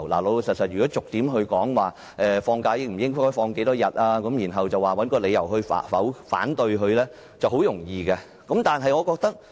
老實說，如果逐點討論，例如假期應該有多少天，然後找個理由提出反對，是很容易的。